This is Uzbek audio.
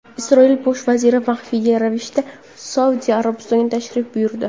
Isroil bosh vaziri maxfiy ravishda Saudiya Arabistoniga tashrif buyurdi.